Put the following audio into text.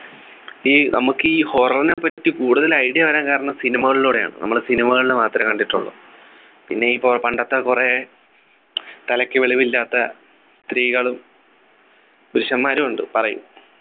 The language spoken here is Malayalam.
ഈ നമുക്ക് ഈ horror നേപ്പറ്റി കൂടുതൽ idea വരാൻ കാരണം cinema കളിലൂടെയാണ് നമ്മള് cinema കളിൽ മാത്രമേ കണ്ടിട്ടുള്ളു പിന്നെ ഇപ്പൊ പണ്ടത്തെ കുറെ തലക്ക് വെളിവില്ലാത്ത സ്ത്രീകളും പുരുഷന്മാരും ഉണ്ട് പറയും